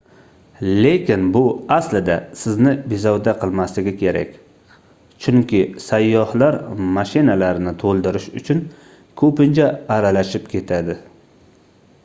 lekin bu aslida sizni bezovta qilmasligi kerak chunki sayyohlar mashinalarni toʻldirish uchun koʻpincha aralashib ketadi